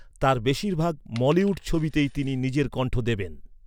তাঁর বেশিরভাগ মলিউড ছবিতেই তিনি নিজের কণ্ঠ দেবেন।